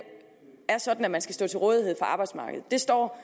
er sådan at man skal stå til rådighed for arbejdsmarkedet det står